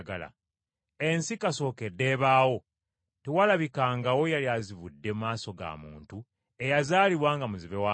Ensi kasookedde ebaawo tewalabikangawo yali azibudde maaso ga muntu eyazaalibwa nga muzibe wa maaso.